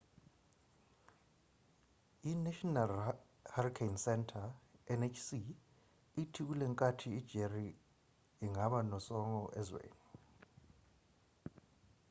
inational hurricane center nhc ithi kulenkathi ijerry ingaba nosongo ezweni